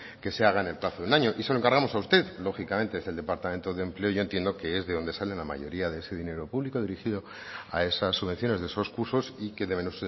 que se haga en el plazo de un año y se lo encargamos a usted lógicamente es el departamento de empleo y yo entiendo que es de donde sale la mayoría de ese dinero público dirigido a esas subvenciones de esos cursos y que deben